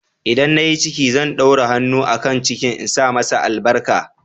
ldan na yi ciki, zan ɗaura hannu a kan cikin insa masa albarka.